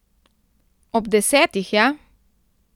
Ob desetih, ja!